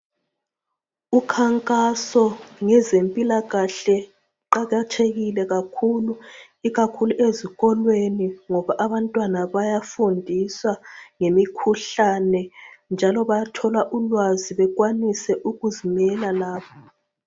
Ukhankaso ngezempilakahle uqakathekile kakhulu ikakhulu ezikolweni ngoba abantwana bayafundiswa ngemikhuhlane njalo bayathola ulwazi bekwanise ukuzimela labo.